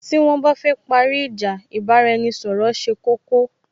Tí wón bá fẹ́ parí ìjà, ì bá ra-ẹni ṣọ̀rọ̀ ṣe koko